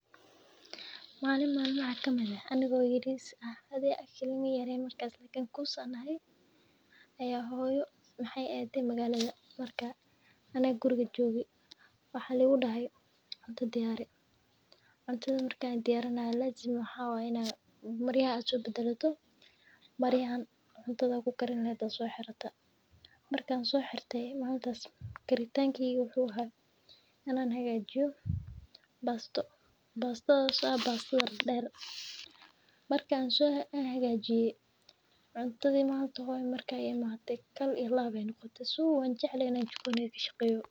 malin malmaha kamid aah anigo ayar hoyo ade magalada. Aniga kuriga joge waxa laigudehe cuunta diyari cuntata. marki diyarinayo waxa (lazim)aah ina darka badesho. Darka cunta kugarin laha soxirte karintangeyga wuxa aha ina kariyo basta dhedher marka hagajiye hoyo imate cuntati waxay noqote kaal iyo laab wanjecle ina jikada kashaqeyo.